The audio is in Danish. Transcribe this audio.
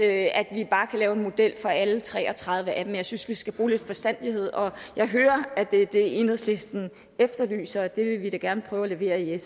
at vi bare kan lave en model for alle tre og tres af dem jeg synes vi skal bruge lidt forstandighed og jeg hører at det er det enhedslisten efterlyser og det vil vi sf gerne prøve at levere jeg